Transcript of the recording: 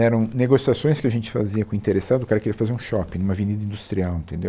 eram negociações que a gente fazia com o interessado, o cara queria fazer um shopping em uma avenida industrial, entendeu?